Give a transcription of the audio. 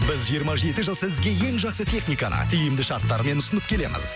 біз жиырма жеті жыл сізге ең жақсы техникаға тиімді шарттармен ұсынып келеміз